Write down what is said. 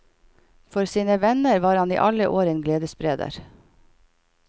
For sine venner var han i alle år en gledesspreder.